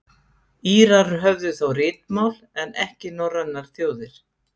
Írar höfðu þá ritmál en ekki norrænar þjóðir.